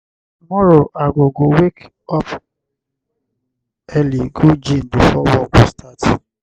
tomorrow i go go wake up early go gym before work go start.